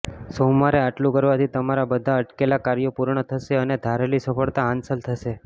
સોમવારે આટલું કરવાથી તમારા બધાં અટકેલા કાર્યો પૂર્ણ થશે અને ધારેલી સફળતા હાંસલ થશે